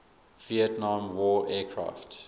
vietnam war aircraft